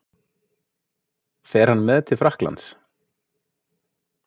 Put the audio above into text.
Fer hann með til Frakklands?